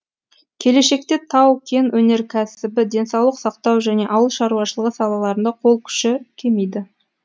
келешекте тау кен өнеркәсібі денсаулық сақтау және ауыл шаруашылығы салаларында қол күші кемиді